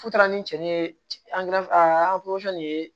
Fu taara ni cɛni ye nin ye